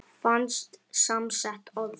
Fast samsett orð